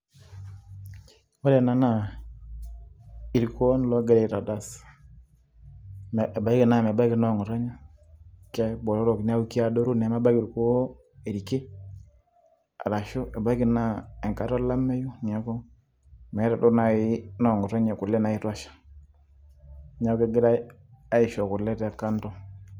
Ore ena naa, irkuon ogirai aitadas. Ebaiki naa mebaki noong'otonye, kebotorok keadoru neeku mebaki orkuo irki, arashu ebaiki naa enkata olameyu neeku meeta duo nai noong'otonye kule naitosha. Neeku kegirai aisho kule te kando.